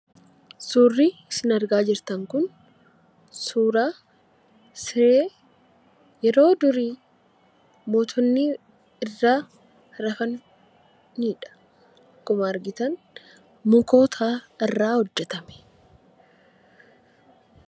Suurri isin argaa jirtan kun suura siree yeroo durii mootonni irra rafaniidha. Akkuma argitan mukoota irraa hojjetame.